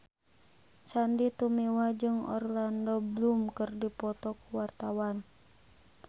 Sandy Tumiwa jeung Orlando Bloom keur dipoto ku wartawan